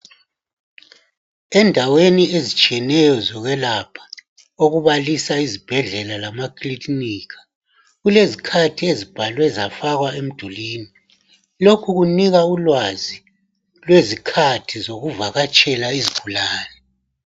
Endaweni ezitshiyeneyo zokwelapha okubalisa izibhedlela lamakilinika, kulezikhathi ezibhalwe zafakwa emdulwini. Lokhu kunika ulwazi lwezikhathi zokuvakatshela izgulani.